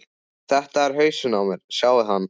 Þetta er hausinn á mér, sjáiði hann?